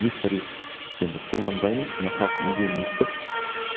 дифтариф енді қолданбаймыз мына халықтың үндеуін естіп